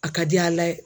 A ka di ala ye